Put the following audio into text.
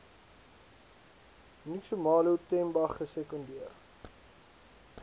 nxumalo themba gesekondeer